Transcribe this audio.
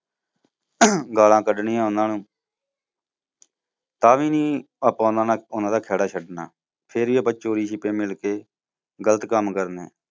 ਗਾਲਾਂ ਕਢਣੀਆਂ ਉਨ੍ਹਾਂ ਨੂੰ ਤਾਂ ਵੀ ਨੀ ਆਪਾਂ ਉਨ੍ਹਾਂ ਦਾ ਖੈੜਾ ਛੱਡਣਾ ਫਿਰ ਵੀ ਆਪਾਂ ਚੋਰੀ ਛਿਪੇ ਮਿਲਕੇ, ਗਲਤ ਕੰਮ ਕਰਨੇ।